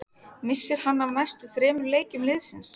Missir hann af næstu þremur leikjum liðsins.